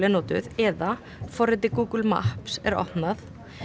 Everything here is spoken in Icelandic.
notuð eða forritið Google Maps er opnað